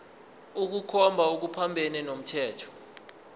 ukukhomba okuphambene nomthetho